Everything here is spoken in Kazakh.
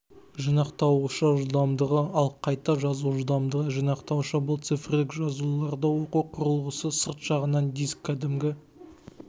жинақтауышы жылдамдығы ал қайта жазу жылдамдығы жинақтауышы бұл цифрлік жазуларды оқу құрылғысы сырт жағынан диск кәдімгі